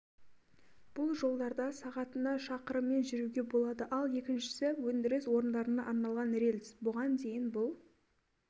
бұл жолдарда сағатына шақырыммен жүруге болады ал екіншісі өндіріс орындарына арналған рельс бұған дейін бұл